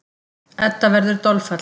Edda verður dolfallin.